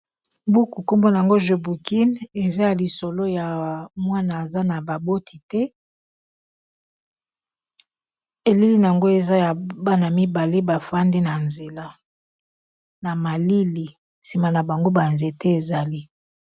Buku nkombona yango jo bukin eza ya lisolo ya mwana aza na baboti te eleli na yango eza ya bana mibale bafandi na nzela na malili nsima na bango banzete ezali.